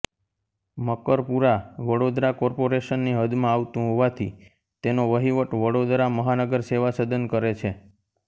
Makarpura Vadodara corporation ની હદમાં આવતું હોવાથી તેનો વહિવટ વડોદરા મહાનગર સેવા સદન કરે છે